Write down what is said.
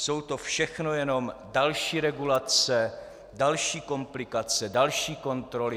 Jsou to všechno jenom další regulace, další komplikace, další kontroly.